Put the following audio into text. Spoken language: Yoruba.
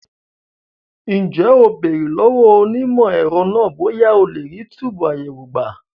Ǹjẹ́ o béèrè lọ́wọ́ onímọ̀ ẹ̀rọ náà bóyá a lè rí túbùù àyẹ̀wò gbà?